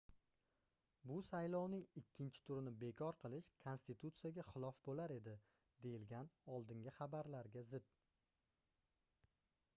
bu saylovning ikkinchi turini bekor qilish konstitutsiyaga xilof boʻlar edi deyilgan oldingi xabarlarga zid